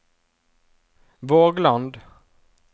Vågland